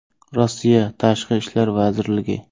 Rossiya Tashqi ishlar vazirligi.